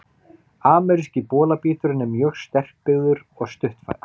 Ameríski bolabíturinn er mjög sterkbyggður og stutthærður.